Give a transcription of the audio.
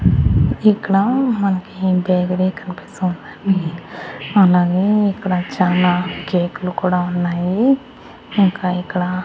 ఇక్కడ మనకి బేకరీ కనిపిస్తుందండి అలాగే ఇక్కడ చాలా కేకు లు కూడా ఉన్నాయి ఇంకా ఇక్కడ --